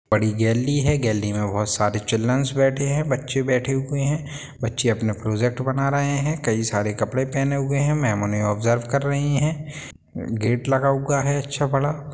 बड़ी गैलरी है गैलरी में बहुत सारे चिल्ड्रन्स बैठे हुए हैं बच्चे बैठे हुए हैं बच्चे अपना प्रोजेक्ट बना रहे हैं कई सारे कपड़े पहने हुए हैं मैम उन्हें ऑब्जर्व कर रही है गेट लगा अच्छा बड़ा।